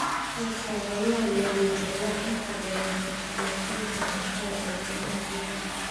Soosaarayaal waaweyn ayaa inta badan xukuma suuqa cuntada ee ganacsiga.